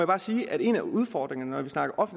bare sige at en af udfordringerne når vi snakker